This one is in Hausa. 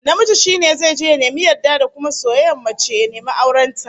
Namiji shi ne zai je ya nemi yarda da kuma soyayyar mace, ya nemi auren ta